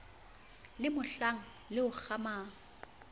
le mohlang le o kgamang